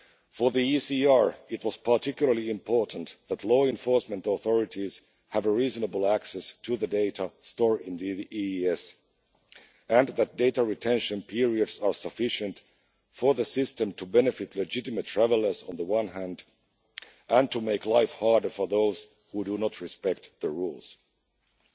For the ECR, it was particularly important that law-enforcement authorities have reasonable access to the data stored in the EES and that data retention periods are sufficient for the system to benefit legitimate travellers on the one hand, and to make life harder for those who do not respect the rules on the